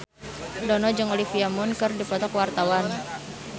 Dono jeung Olivia Munn keur dipoto ku wartawan